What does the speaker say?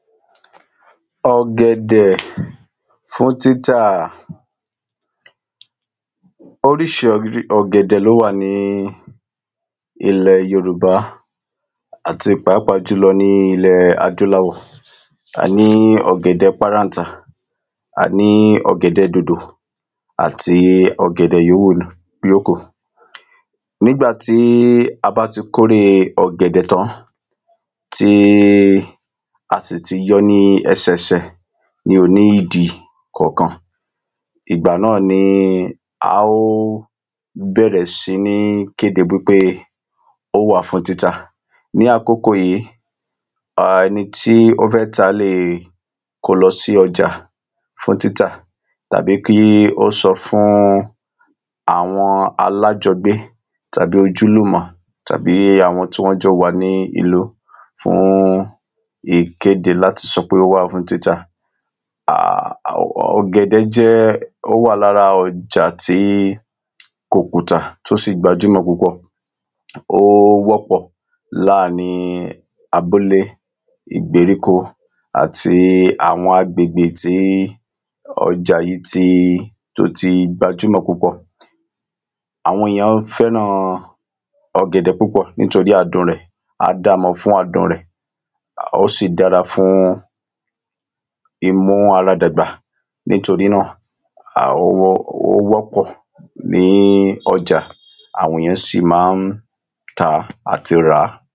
ọ̀gẹ̀dẹ̀ fún títà. oríṣiríṣi ọ̀gẹ̀dẹ̀ ni ó wà ní ilẹ Yorùbá, àti pàápàá jùlọ ní ilẹ̀ adúláwọ̀ a ní ọ̀gẹ̀dẹ paráńtà, a ní ọ̀gẹ̀dẹ dòdò àti ọ̀gẹ̀dẹ yóòwù yókù nígbà tí a bá ti kóre ọ̀gẹ̀dẹ̀ tán, tí a sì ti yọ ní ẹsẹsẹ ní ìdì kọ̀ọ̀kan ìgbà náà ni a ò bẹ̀rẹ̀ sìí kéde pé ó wà fún títà ní àkókò yìí ẹni tí ó fẹ́ tà lè kóo lọ sí ọjà fún títà tàbí kí ó sọ fún àwọn alájọgbé tàbí ojúlùmọ̀ tàbí àwọn tí wọ́n jọ wà ní ìlú fún ìkéde láti sọ pe ó wà fún títà ọ̀gẹ̀dẹ́ ó wà lára ọjà tí kò kùtà, ó sì gbajúmọ̀ púpọ̀, ó wọ́pọ̀ láàrín abúlé, ìgbéríko, àti àwọn agbègbè tí ọjà yìí tó ti gbajúmọ̀ púpọ̀ àwọn èyàn fẹ́ran ọ̀gẹ̀dẹ̀ púpọ̀ nítorí adun rẹ̀, a dáa mọ̀ fún adùn rẹ̀, ó sì dára fún ìmú ara dàgbà nítorí náà ó wọ́pọ̀ ní ọjà, àwọn èyàn sì ma ń tàá, àti ràá